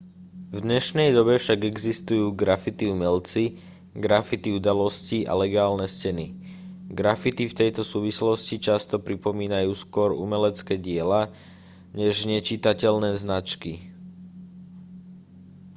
v dnešnej dobe však existujú graffiti umelci graffiti udalosti a legálne steny graffiti v tejto súvislosti často pripomínajú skôr umelecké diela než nečitateľné značky